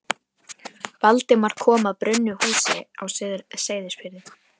Valdimar kom að brunnu húsi á Seyðisfirði.